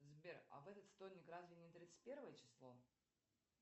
сбер а в этот вторник разве не тридцать первое число